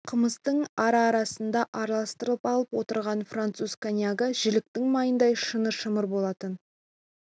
қымыздың ара-арасында араластырып алып отырған француз коньягі жіліктің майындай шыны шымыр болатын